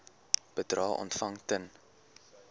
bedrae ontvang ten